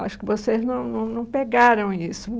Acho que vocês não não num pegaram isso.